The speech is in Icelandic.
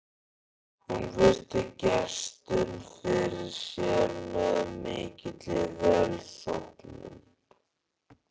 Hún virti gestinn fyrir sér með mikilli velþóknun.